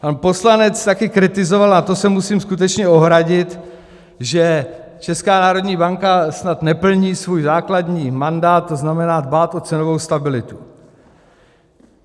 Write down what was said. Pan poslanec taky kritizoval - a to se musím skutečně ohradit - že Česká národní banka snad neplní svůj základní mandát, to znamená dbát o cenovou stabilitu.